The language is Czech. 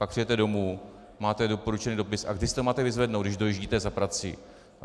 Pak přijdete domů, máte doporučený dopis, a kdy si to máte vyzvednout, když dojíždíte za prací?